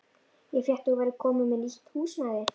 Ég frétti að þú værir komin með nýtt húsnæði.